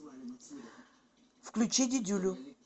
включи дидюлю